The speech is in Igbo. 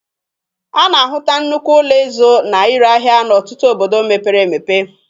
A na-ahụta nnukwu ụlọ ịzụ na ire ahia n'ọtụtụ obodo mepere emepe.